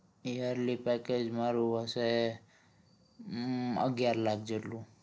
yearly package મારું હશે અમ અગિયાર લાખ જેટલું